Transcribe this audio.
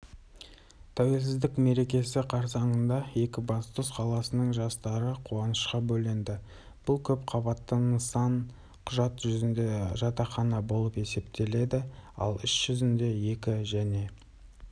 тәуелсіздік мерекесі қарсаңында екібастұз қаласының жастары қуанышқа бөленді бұл көпқабатты нысан құжат жүзінде жатақхана болып есептеледі ал іс жүзінде екі және